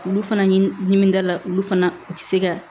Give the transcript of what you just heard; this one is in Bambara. Olu fana ɲin dimi dala olu fana u tɛ se ka